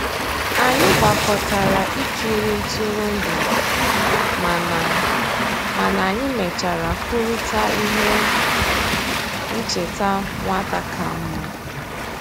Anyị gbàkọtàrà ìkìrì ntụrụndụ, mànà mànà anyị mèchàrà kwùrịtà íhè nchèta nwata kàmmà.